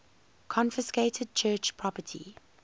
confiscated church property